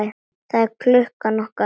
Það er klukkan okkar!